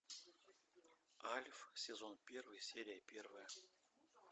альф сезон первый серия первая